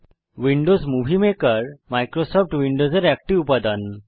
Windows movie maker Microsoft উইন্ডোজের একটি উপাদান